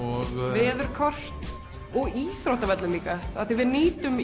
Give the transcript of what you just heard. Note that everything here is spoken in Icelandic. veðurkort og íþróttavelli af því að við nýtum